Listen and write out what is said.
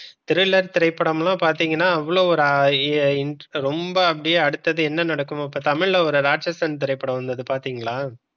Thriller திரைப்படம்லாம் பார்த்தீங்கன்னா அவ்வளவு ஒரு ரொம்ப அடுத்தது என்ன நடக்கும்னு இப்ப தமிழ்ல ராட்சசன் திரைப்படம் வந்தது பார்த்தீங்களா?